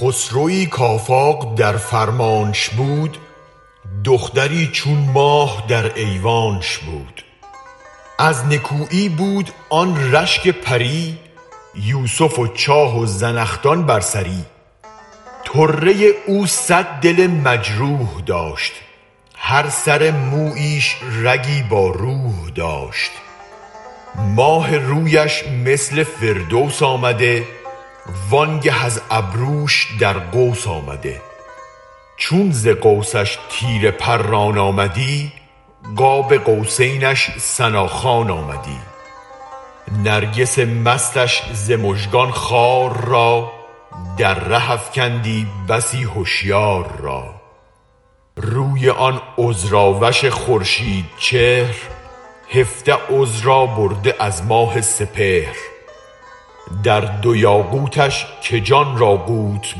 خسروی کافاق در فرمانش بود دختری چون ماه در ایوانش بود از نکویی بود آن رشک پری یوسف و چاه و زنخدان بر سری طره او صد دل مجروح داشت هر سرمویش رگی با روح داشت ماه رویش مثل فردوس آمده وانگه از ابروش در قوس آمده چون ز قوسش تیر پران آمدی قاب قوسینش ثنا خوان آمدی نرگس مستش ز مژگان خار را در ره افکندی بسی هشیار را روی آن عذر اوش خورشید چهر هفده عذرا برده از ماه سپهر در دو یاقوتش که جان را قوت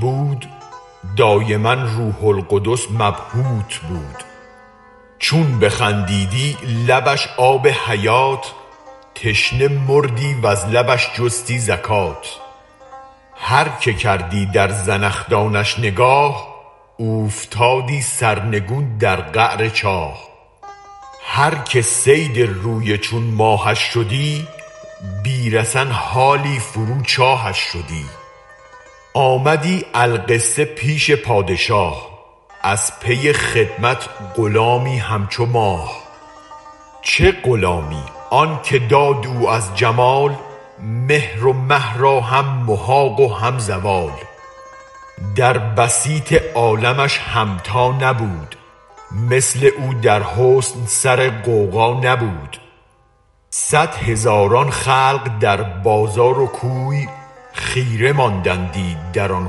بود دایما روح القدس مبهوت بود چون بخندیدی لبش آب حیات تشنه مردی وز لبش جستی زکات هرکه کردی در زنخدانش نگاه اوفتادی سرنگون در قعر چاه هرکه صید روی چون ماهش شدی بی رسن حالی فرو چاهش شدی آمدی القصه پیش پادشاه از پی خدمت غلامی همچو ماه چه غلامی آنک داد او از جمال مهر و مه راهم محاق و هم زوال در بسیط عالمش همتا نبود مثل او در حسن سر غوغا نبود صد هزاران خلق در بازار و کوی خیره ماندندی در آن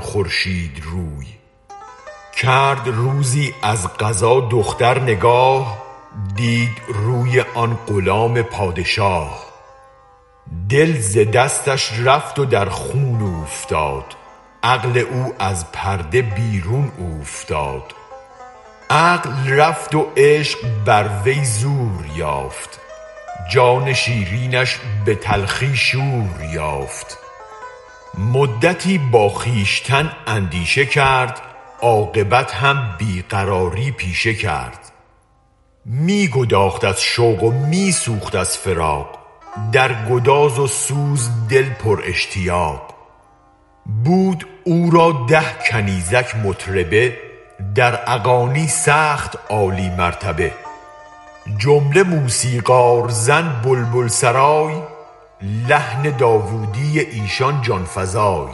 خورشید روی کرد روزی از قضا دختر نگاه دید روی آن غلام پادشاه دل ز دستش رفت و در خون اوفتاد عقل او از پرده بیرون اوفتاد عقل رفت و عشق بر وی زور یافت جان شیرینش به تلخی شور یافت مدتی با خویشتن اندیشه کرد عاقبت هم بی قراری پیشه کرد می گداخت از شوق و می سوخت از فراق در گداز و سوز دل پر اشتیاق بود او را ده کنیزک مطربه در اغانی سخت عالی مرتبه جمله موسیقار زن بلبل سرای لحن داودی ایشان جان فزای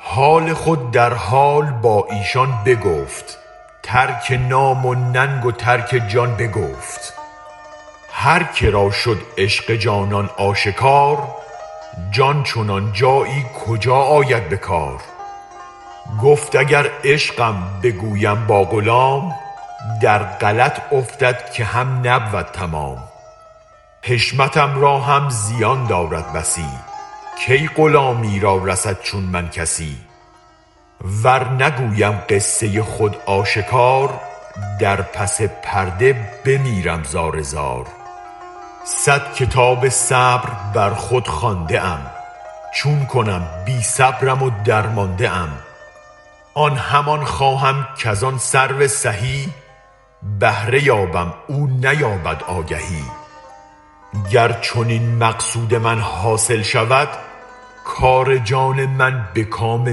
حال خود در حال با ایشان بگفت ترک نام و ننگ و ترک جان بگفت هرکرا شد عشق جانان آشکار جان چنان جایی کجا آید بکار گفت اگر عشقم بگویم با غلام در غلط افتد که هم نبود تمام حشمتم را هم زیان دارد بسی کی غلامی را رسد چون من کسی ور نگویم قصه خود آشکار در پس پرده بمیرم زار زار صد کتاب صبر بر خود خوانده ام چون کنم بی صبرم و درمانده ام آن همی خواهم کزان سرو سهی بهره یابم او نیابد آگی گر چنین مقصود من حاصل شود کار جان من به کام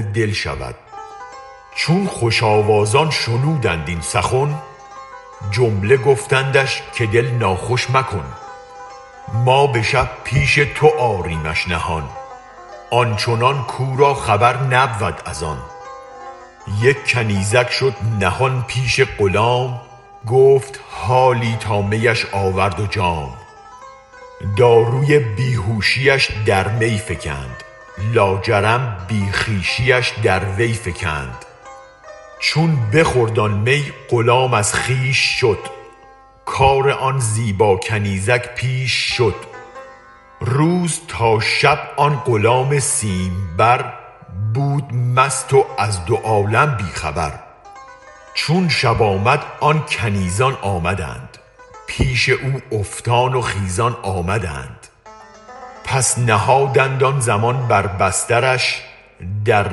دل شود چون خوش آواز آن شنودند این سخن جمله گفتندش که دل ناخوش مکن ما به شب پیش تو آریمش نهان آن چنان کو را خبر نبود از آن یک کنیزک شد نهان پیش غلام گفت حالی تا میش آورد و جام داروی بی هوشیش در می فکند لاجرم بی خویشیش در وی فکند چون بخورد آن می غلام از خویش شد کار آن زیبا کنیزک پیش شد روز تا شب آن غلام سیم بر بود مست و از دو عالم بی خبر چون شب آمد آن کنیزان آمدند پیش او افتان و خیزان آمدند پس نهادند آن زمان بر بسترش در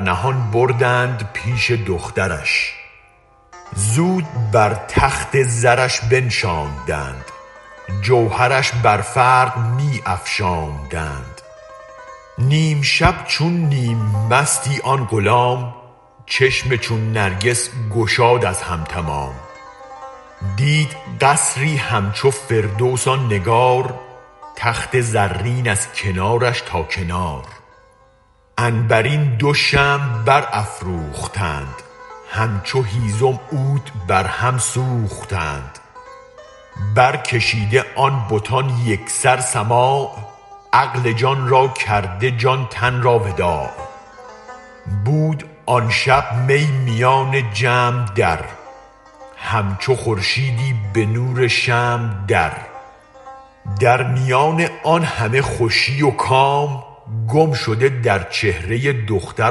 نهان بردند پیش دخترش زود بر تخت زرش بنشاندند جوهرش بر فرق می افشاندند نیم شب چون نیم مستی آن غلام چشم چون نرگس گشاد از هم تمام دید قصری همچو فردوس آن نگار تخت زرین از کنارش تا کنار عنبرین دو شمع برافروختند همچو هیزم عود برهم سوختند برکشیده آن بتان یک سر سماع عقل جان را کرده جان تن را وداع بود آن شب می میان جمع در همچو خورشیدی به نور شمع در در میان آن همه خوشی و کام گم شده در چهره دختر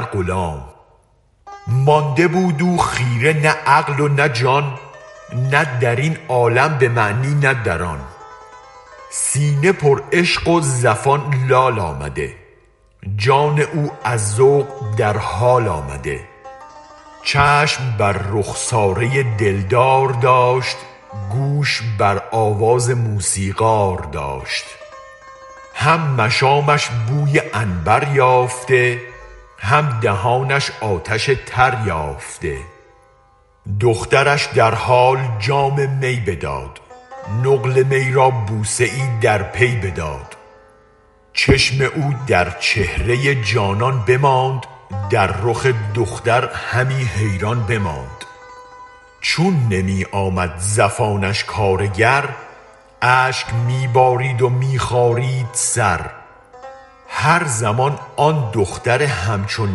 غلام مانده بود او خیره نه عقل و نه جان نه درین عالم به معنی نه در آن سینه پر عشق و زفان لال آمده جان او از ذوق در حال آمده چشم بر رخساره دل دار داشت گوش بر آواز موسیقار داشت هم مشامش بوی عنبر یافته هم دهانش آتش تر یافته دخترش در حال جام می بداد نقل می را بوسه ای در پی بداد چشم او در چهره جانان بماند در رخ دختر همی حیران بماند چون نمی آمد زفانش کارگر اشک می بارید و می خارید سر هر زمان آن دختر همچون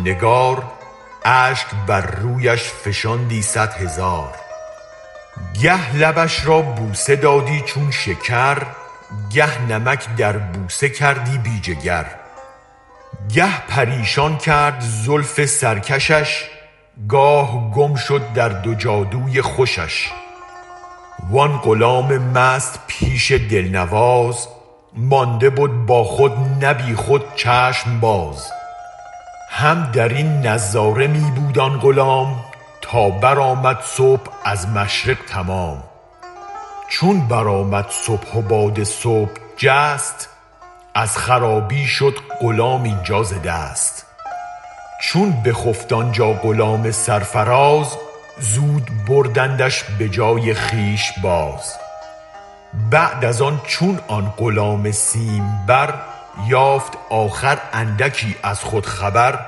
نگار اشک بر رویش فشاندی صد هزار گه لبش را بوسه دادی چون شکر گه نمک در بوسه کردی بی جگر گه پریشان کرد زلف سرکشش گاه گم شد در دو جادوی خوشش وان غلام مست پیش دل نواز مانده بد با خود نه بی خود چشم باز هم درین نظاره می بود آن غلام تا برآمد صبح از مشرق تمام چون برآمد صبح و باد صبح جست از خرابی شد غلام اینجا ز دست چون به خفت آنجا غلام سرفراز زود بردندش بجای خویش باز بعد از آن چون آن غلام سیم بر یافت آخر اندکی از خود خبر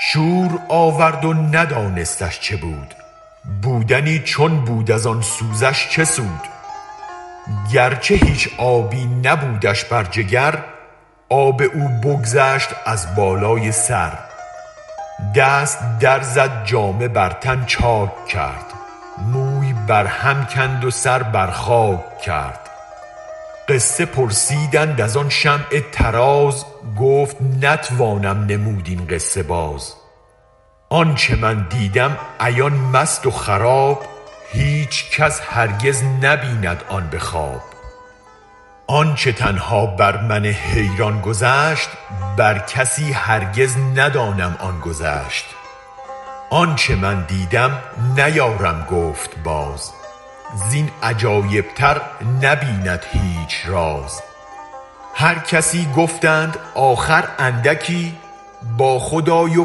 شور آورد و ندانستش چه بود بودنی چون بود از آن سوزش چه سود گرچه هیچ آبی نبودش بر جگر آب او بگذشت از بالای سر دست در زد جامه بر تن چاک کرد موی بر هم کند و سر بر خاک کرد قصه پرسیدند از آن شمع طراز گفت نتوانم نمود این قصه باز آنچ من دیدم عیان مست و خراب هیچ کس هرگز نبیند آن به خواب آنچ تنها بر من حیران گذشت بر کسی هرگز ندانم آن گذشت آنچ من دیدم نیارم گفت باز زین عجایب تر نبیند هیچ راز هر کسی گفتند آخر اندکی با خود آی و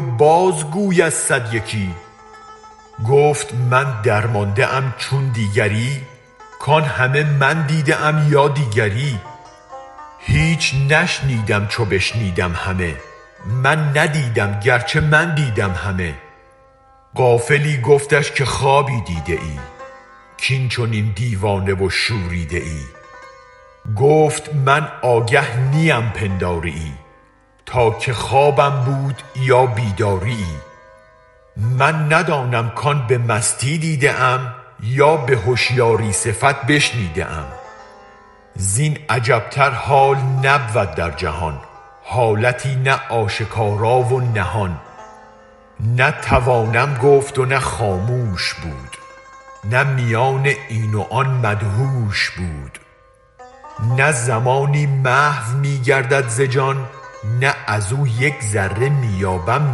بازگو از صد یکی گفت من درمانده ام چون دیگری کان همه من دیده ام یا دیگری هیچ نشنیدم چو بشنیدم همه من ندیدم گرچه من دیدم همه غافلی گفتش که خوابی دیده ای کین چنین دیوانه و شوریده ای گفت من آگه نیم پنداریی تا که خوابم بود یا بیداریی من ندانم کان به مستی دیده ام یا به هشیاری صفت بشنیده ام زین عجب تر حال نبود در جهان حالتی نه آشکارا نه نهان نه توانم گفت و نه خاموش بود نه میان این و آن مدهوش بود نه زمانی محو می گردد ز جان نه از و یک ذره می یابم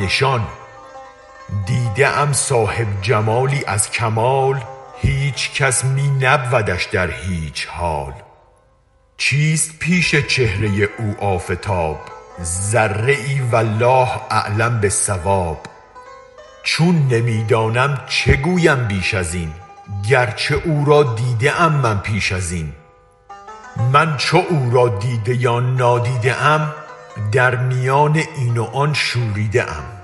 نشان دیده ام صاحب جمالی از کمال هیچ کس می نبودش در هیچ حال چیست پیش چهره او آفتاب ذره والله اعلم باالصواب چون نمی دانم چه گویم بیش ازین گرچه او را دیده ام من پیش ازین من چو او را دیده یا نادیده ایم در میان این و آن شوریده ام